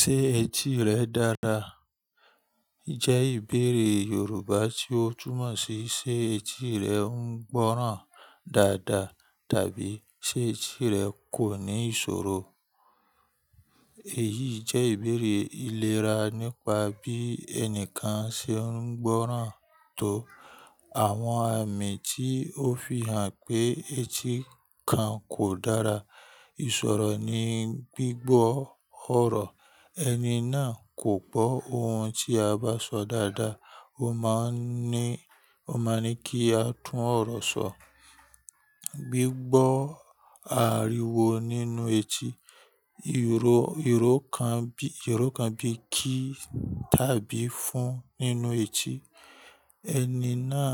Ṣé etí rẹ dára? Ṣẹ́ ìbéèrè Yorùbá tí ó túmọ̀ sí sé etí rẹ ń gbọ́ràn dáadáa tàbí sé etí rẹ kò ní ìṣòro. Èyí jẹ́ ìbéèrè ìlera nípa bí ẹnìkan ṣe ń gbọ́ràn tó. Àwọn amí tí ó fihàn pé etí kan kò dára, ìsọ̀rọ̀ ní gbígbọ́ ọ̀rọ̀, ẹni náà kò gbọ́ ohun tí a bá sọ dáadáa, ó máa ń ní, ó máa ń ní kí a tún ọ̀rọ̀ sọ. Gbígbọ́ àríwo nínú etí, ìró, ìró kan bí, ìró kan bí kí tàbí fún nínú etí, ẹni náà